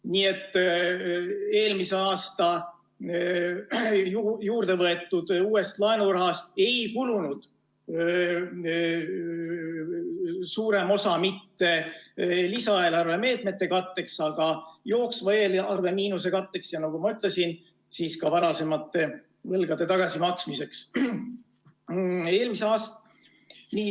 Nii et eelmisel aastal juurde võetud uuest laenurahast ei kulunud suurem osa mitte lisaeelarve meetmete katteks, vaid jooksva eelarve miinuse katteks, ja nagu ma ütlesin, ka varasemate võlgade tagasimaksmiseks.